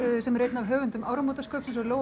sem er einn af höfundum áramótaskaupsins og Lóa